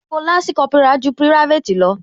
Ipò lansi Kópírà ju private lọ